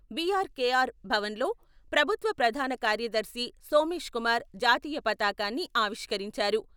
BRKR Bhavan లో ప్రభుత్వ ప్రధాన కార్యదర్శి సోమేష్ కుమార్ జాతీయ పతాకాన్ని ఆవిష్కరించారు.